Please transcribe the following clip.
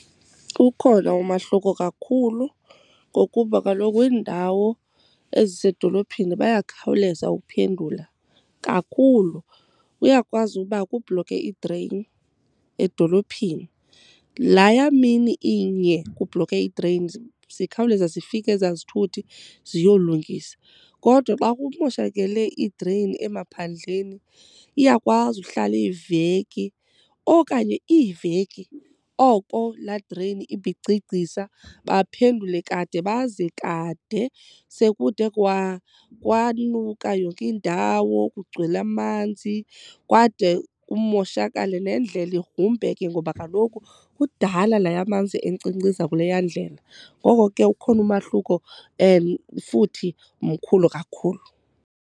Ukhona umahluko kakhulu ngokuba kaloku iindawo ezisedolophini bayakhawuleza ukuphendula kakhulu. Uyakwazi uba kubhlokhe idreyini edolophini. Laya mini iye kubhlokhe idreyini, zikhawuleza zifike ezaa zithuthi ziyolungisa. Kodwa xa kumoshakele idreyini emaphandleni iyakwazi uhlala iveki okanye iiveki oko laa dreyini ibigcigcisa. Baphendule kade baze kade sekude kwanuka yonke indawo kugcwele amanzi kwade kumoshakale, nendlela igrumbeke ngoba kaloku kudala laya manzi enkcinkciza kuleya ndlela. Ngoko ke ukhona umahluko and futhi mkhulu kakhulu.